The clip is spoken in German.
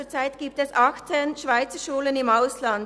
Zurzeit gibt es 18 Schweizerschulen im Ausland.